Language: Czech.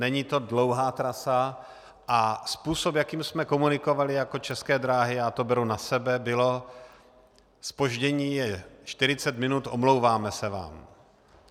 Není to dlouhá trasa a způsob, jakým jsme komunikovali jako České dráhy, já to beru na sebe, bylo: zpoždění je 40 minut, omlouvám se vám.